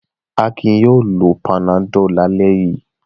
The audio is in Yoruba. Akin yóò lo Panadol lálẹ́ yìí.